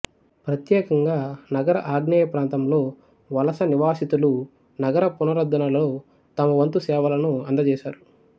ప్రత్యేకంగా నగర ఆగ్నేయ ప్రాంతంలో వలసనివాసితులు నగర పునరుద్ధరణలో తమవంతు సేవలను అందజేసారు